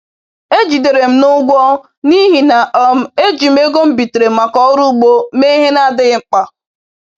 E jidere m n'ụgwọ n’ihi na um e ji m ego m bitere maka ọrụ ugbo mee ihe na-adịghị mkpa.